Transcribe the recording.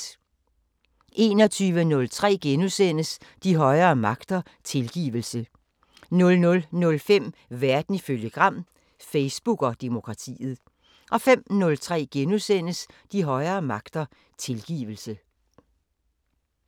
21:03: De højere magter: Tilgivelse * 00:05: Verden ifølge Gram: Facebook og demokratiet 05:03: De højere magter: Tilgivelse *